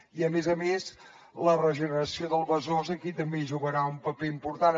i a més a més la regeneració del besòs aquí també hi jugarà un paper important